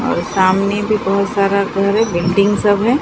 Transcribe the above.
और सामने भी बहोत सारा घर है बिल्डिंग सब है।